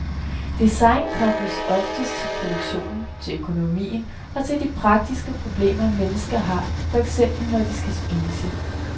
Design kobles oftest til produktionen, til økonomien og til de praktiske problemer, mennesker har, for eksempel når de skal spise.